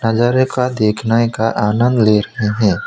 नजारे का देखने का आनंद ले रहे है।